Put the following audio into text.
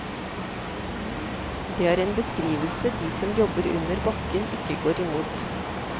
Det er en beskrivelse de som jobber under bakken ikke går imot.